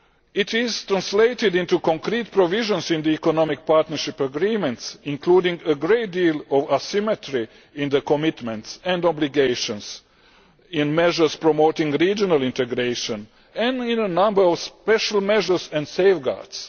It is translated into concrete provisions in the Economic Partnership Agreements, including a great deal of asymmetry in the commitment and obligations, in measures promoting regional integration and in a number of special measures and safeguards.